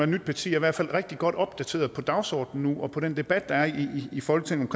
nyt parti i hvert fald rigtig godt opdateret på dagsordenen nu og på den debat der er i folketinget